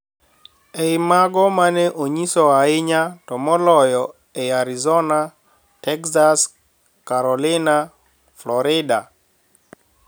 E I mago ma ne nyiso ahinya, to moloyo e Arizona, Texas, Carolinas, Florida,